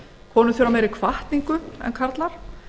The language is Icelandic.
konur þurfa meiri hvatningu en karlar